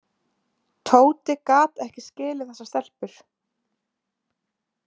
Tóti gat ekki skilið þessar stelpur.